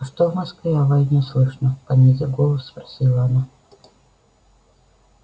а что в москве о войне слышно понизив голос спросила она